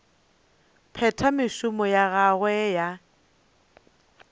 phetha mešomo ya gagwe ya